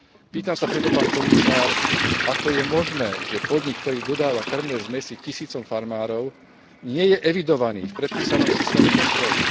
Pýtam sa preto, pán komisár, ako je možné, že podnik, ktorý dodáva kŕmne zmesi tisícom farmárov, nie je evidovaný v predpísanom systéme kontroly?